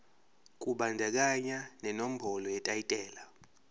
kubandakanya nenombolo yetayitela